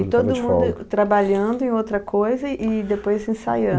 E todo mundo trabalhando em outra coisa e depois ensaiando?